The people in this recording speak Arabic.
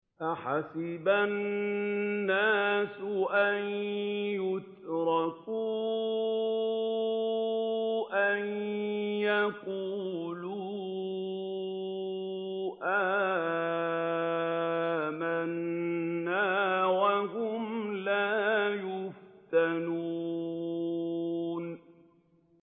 أَحَسِبَ النَّاسُ أَن يُتْرَكُوا أَن يَقُولُوا آمَنَّا وَهُمْ لَا يُفْتَنُونَ